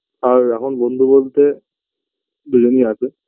আর এখন বন্ধু বলতে দুজনই আছে